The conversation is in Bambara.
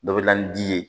Dɔ bɛ na ni di ye